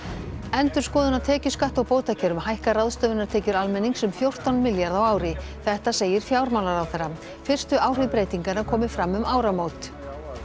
endurskoðun á tekjuskatti og bótakerfum hækkar ráðstöfunartekjur almennings um fjórtán milljarða á ári þetta segir fjármálaráðherra fyrstu áhrif breytinganna komi fram um áramót